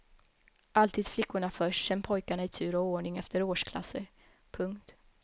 Alltid flickorna först sen pojkarna i tur och ordning efter årsklasser. punkt